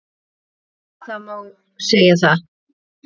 Jú, það má segja það.